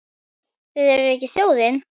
Þið eruð ekki þjóðin!